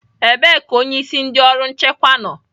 Ebee ka onyeisi ndị ọrụ nchekwa nọ?